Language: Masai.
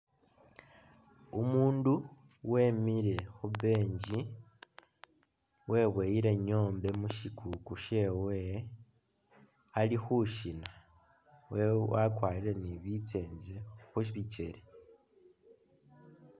Umundu wemile khu bench webuwile nyombe mushikuku shewe alikhushina wakwarire ni bitsenze khubikyele